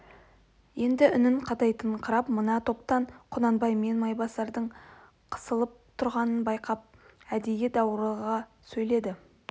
енді үнін қатайтыңқырап мына топтан құнанбай мен майбасардың қысылып тұрғанын байқап әдей даурыға сөйледі